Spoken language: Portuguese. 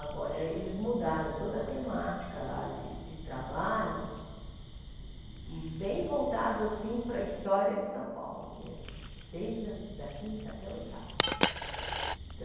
Agora eles mudaram toda a temática lá de de trabalho, bem voltados assim para a história de São Paulo mesmo, desde a a quinta até a oitava.